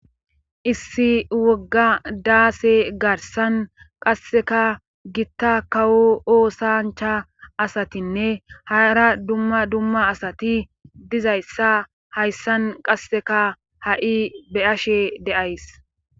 Issi wogga daase garsan qasseka gitta kawo oosancha asatinne haara dumma dumma asati dizayssa hayssan qasseka ha'i beyashe deays